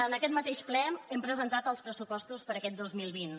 en aquest mateix ple hem presentat els pressupostos per a aquest dos mil vint